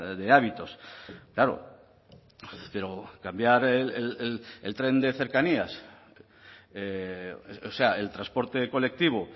de hábitos claro pero cambiar el tren de cercanías o sea el transporte colectivo